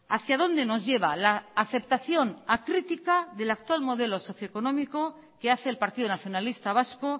hacia dónde nos lleva la aceptación acrítica del actual modelo socioeconómico que hace el partido nacionalista vasco